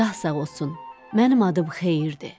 Şah sağ olsun, mənim adım xeyirdir.